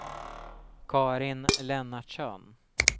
Karin Lennartsson